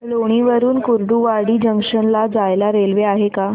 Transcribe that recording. लोणी वरून कुर्डुवाडी जंक्शन ला जायला रेल्वे आहे का